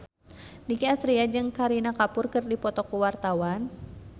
Nicky Astria jeung Kareena Kapoor keur dipoto ku wartawan